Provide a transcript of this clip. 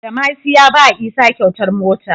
Badamasi ya bawa isa kyautar mota